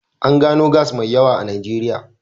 An gano gas mai yawa a Najeriya.